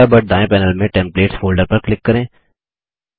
Thunderbird दायें panel में templates folder पर क्लिक करें